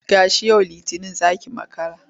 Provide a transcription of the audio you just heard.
Tashi! yau Litinin za ki makara.